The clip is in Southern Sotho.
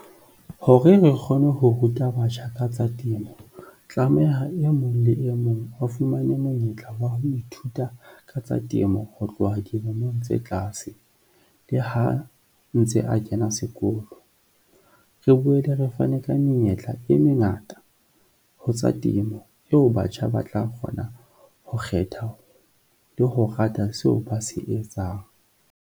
Hore re kgone ho ruta batjha ka tsa temo, tlameha e mong le e mong a fumane monyetla wa ho ithuta ka tsa temo ho tloha dilemong tse tlaase le ha ntse a kena sekolo. Re boele re fane ka menyetla e mengata ho tsa temo eo batjha ba tla kgona ho kgetha le ho rata seo ba se etsang.